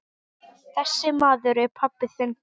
Þessi maður er pabbi þinn.